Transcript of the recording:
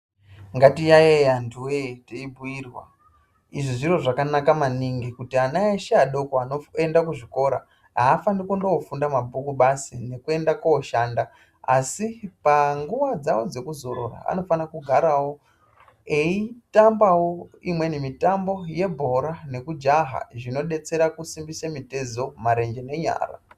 Ngatiyaiye antuwee teibhuirwa. Izvi zviro zvakanaka maningi kuti ana eshe adoko anoenda kuzvikora afaniri kundoofunda mabhuku basi nekuenda koshanda asi panguwa dzawo dzekuzorora anofana kugarawo eitambawo imweniwo mitambo yebhora nekujaha zvinodetsera kusimbise mitezo, marenje nenyara.